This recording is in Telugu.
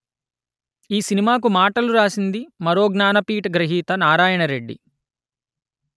ఈ సినిమాకు మాటలు రాసింది మరో జ్ఞానపీఠ గ్రహీత నారాయణరెడ్డి